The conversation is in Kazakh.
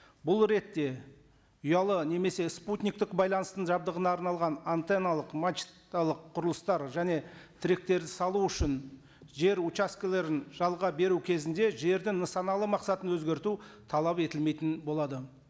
бұл ретте ұялы немесе спутниктік байланыстың жабдығына арналған антенналық мачталық құрылыстар және тіректерді салу үшін жер участкілерін жалға беру кезінде жердің нысаналы мақсатын өзгерту талап етілмейтін болады